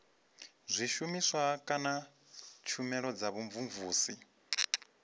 zwishumiswa kana tshumelo dza vhumvumvusi